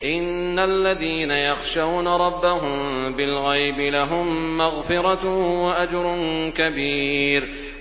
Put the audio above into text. إِنَّ الَّذِينَ يَخْشَوْنَ رَبَّهُم بِالْغَيْبِ لَهُم مَّغْفِرَةٌ وَأَجْرٌ كَبِيرٌ